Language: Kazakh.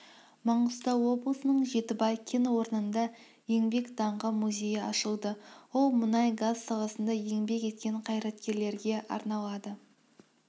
маңғыстау облысының жетібай кен орнында еңбек даңқы музейі ашылды ол мұнай-газ саласында еңбек еткен қайраткерлерге арналады